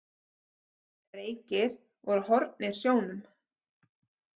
Reykir voru horfnir sjónum.